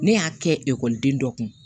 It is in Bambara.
Ne y'a kɛ ekɔliden dɔ kun